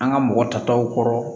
An ka mɔgɔ tataw kɔrɔ